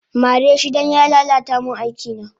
Mareshi dan ya lala ta min aikina